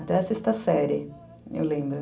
Até a sexta série, eu lembro.